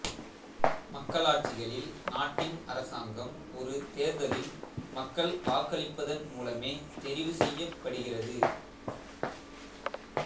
மக்களாட்சிகளில் நாட்டின் அரசாங்கம் ஒரு தேர்தலில் மக்கள் வாக்களிப்பதன் மூலமே தெரிவுசெய்யப்படுகிறது